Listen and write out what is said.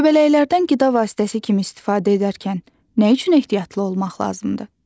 Göbələklərdən qida vasitəsi kimi istifadə edərkən nə üçün ehtiyatlı olmaq lazımdır?